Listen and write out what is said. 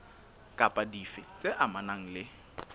kapa dife tse amanang le